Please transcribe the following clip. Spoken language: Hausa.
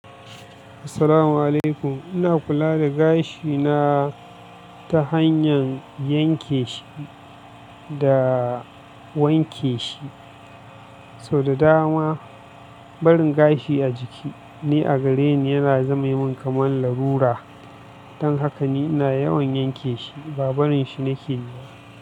Assalamu alaikum. Ina kula da gashi naa ta hanyar yanke shi da wanke shi. Sau da dama barin gashi a jiki ne a gareni yana zama min kamar larura. Dan haka ni na yawan yanke shi, ba barin shi nake yi ba.